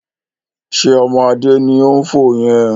Ṣé ọmọ Adé ni ó ń fò yẹn?